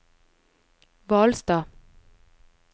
Hvalstad